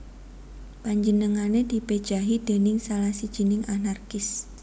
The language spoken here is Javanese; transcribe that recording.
Panjenengané dipejahi déning salah sijining anarkis